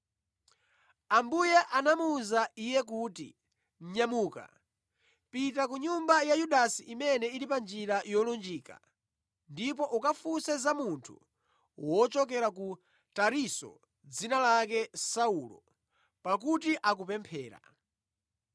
Ambuye anamuwuza iye kuti, “Nyamuka, pita ku nyumba ya Yudasi imene ili pa Njira Yolunjika ndipo ukafunse za munthu wochokera ku Tarisisi dzina lake Saulo, pakuti akupemphera.